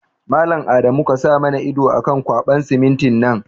Mallam Adamu kasa mana ido akan ƙwaɓan simintin nan